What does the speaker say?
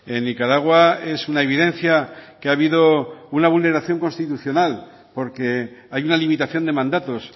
en nicaragua es una evidencia que ha habido una vulneración constitucional porque hay una limitación de mandatos